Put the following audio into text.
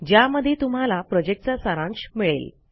ज्यामध्ये तुम्हाला प्रॉजेक्टचा सारांश मिळेल